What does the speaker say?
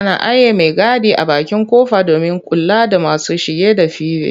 Ana aiye maigadi a bakin ƙofa domin kula da masu shige da five.